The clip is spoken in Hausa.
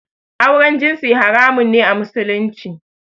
Auren jinsi haramun ne a Musulunci